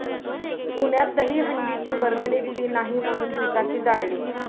पुण्यात दहीहंडीची वर्गणी दिली नाही म्हणून दुचाकी जाळली